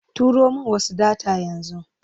Turo min wasu data yanzu.